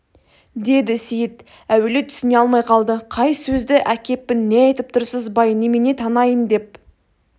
деді сейіт әуелі түсіне алмай қалды қай сөзді әкеппін не айтып тұрсыз бай немене танайын деп